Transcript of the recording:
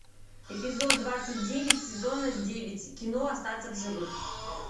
эпизод двадцать девять сезона девять кино остаться в живых